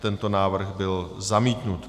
Tento návrh byl zamítnut.